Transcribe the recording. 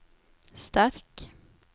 sterk